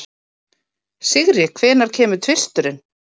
Sigri, hvenær kemur tvisturinn?